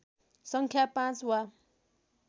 सङ्ख्या पाँच वा